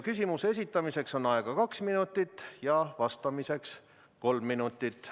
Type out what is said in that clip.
Küsimuse esitamiseks on aega kaks minutit ja vastamiseks kolm minutit.